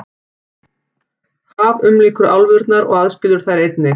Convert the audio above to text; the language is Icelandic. Haf umlykur álfurnar og aðskilur þær einnig.